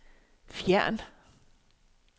fjern